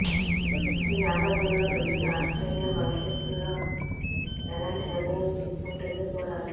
ఈ నేపథ్యంలో cricket Australia భవిష్యత్లో ఎలాంటి నిర్ణయం తీసుకుంటుందో చూడాలి